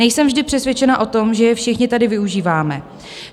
Nejsem vždy přesvědčena o tom, že je všichni tady využíváme.